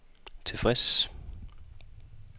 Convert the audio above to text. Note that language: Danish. tilfreds